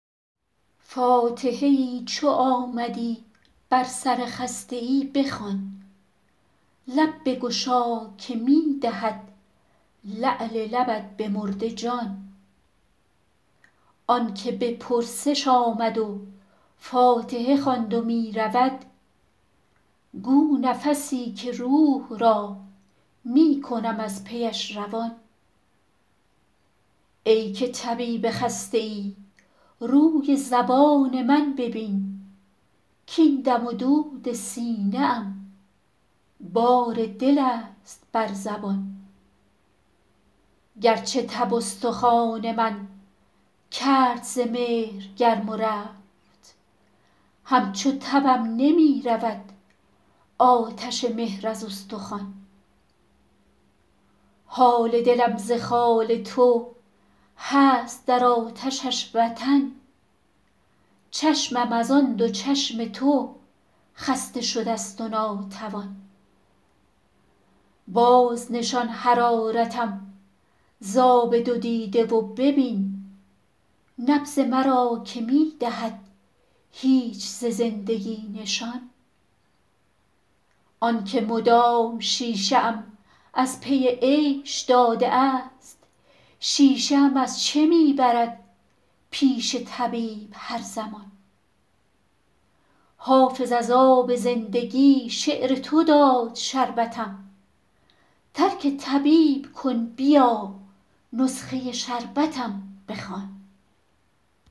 فاتحه ای چو آمدی بر سر خسته ای بخوان لب بگشا که می دهد لعل لبت به مرده جان آن که به پرسش آمد و فاتحه خواند و می رود گو نفسی که روح را می کنم از پیش روان ای که طبیب خسته ای روی زبان من ببین کـاین دم و دود سینه ام بار دل است بر زبان گرچه تب استخوان من کرد ز مهر گرم و رفت همچو تبم نمی رود آتش مهر از استخوان حال دلم ز خال تو هست در آتشش وطن چشمم از آن دو چشم تو خسته شده ست و ناتوان بازنشان حرارتم ز آب دو دیده و ببین نبض مرا که می دهد هیچ ز زندگی نشان آن که مدام شیشه ام از پی عیش داده است شیشه ام از چه می برد پیش طبیب هر زمان حافظ از آب زندگی شعر تو داد شربتم ترک طبیب کن بیا نسخه شربتم بخوان